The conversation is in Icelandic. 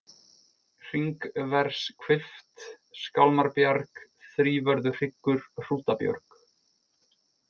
Hringvershvilft, Skálmarbjarg, Þrívörðuhryggur, Hrútabjörg